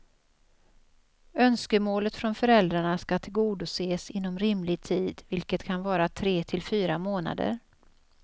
Önskemålet från föräldrarna ska tillgodoses inom rimlig tid, vilket kan vara tre till fyra månader.